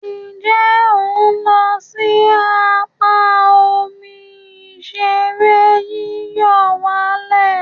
Nje o n lo si apa omi ìṣeré yíyọ̀wálẹ̀?